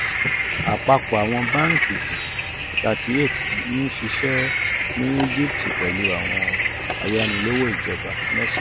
apapọ awọn banki thirty eight n ṣiṣẹ ni egipti pẹlu awọn ayanilowo ijọba mẹ́sàn.